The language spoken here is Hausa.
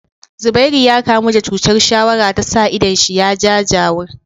Zubairu ya kamu da chutar shawara tasa idon shi ya jajawur